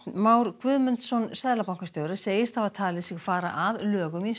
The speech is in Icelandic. Már Guðmundsson seðlabankastjóri segist hafa talið sig fara að lögum í